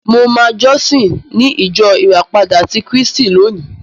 Mo máa jọ́sìn ní ìjọ Ìràpada ti Kírísíìtì lónìí.